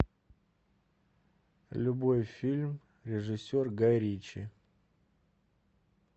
любой фильм режиссер гай ричи